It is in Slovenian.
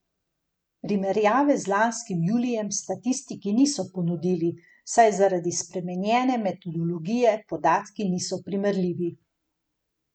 Primerjave z lanskim julijem statistiki niso ponudili, saj zaradi spremenjene metodologije podatki niso primerljivi.